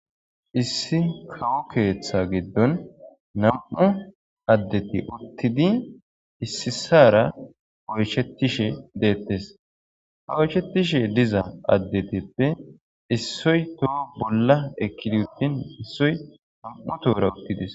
Issi kawo keeththa giddon nam7u addeti uttidi issisara oyshettishe deettes ha oyshetishe diza addetippe issoy toho bolla ekkidi uttin issoy nam7u tuura uttidis